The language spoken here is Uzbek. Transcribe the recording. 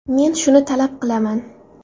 Men shuni talab qilaman.